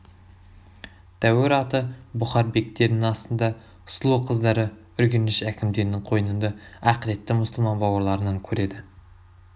тәуір аты бұхар бектерінің астында сұлу қыздары үргеніш әкімдерінің қойнында ақыретті мұсылман бауырларынан көреді